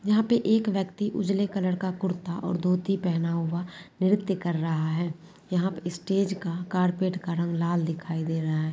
यहां पे एक व्यक्ति उजले कलर का कुर्ता और धोती पहना हुआ नृत्य कर रहा है यहॉँ स्टेज का कार्पेट का रंग लाल दिखाई दे रहा है।